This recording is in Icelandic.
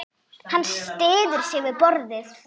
Hann styður sig við borðið.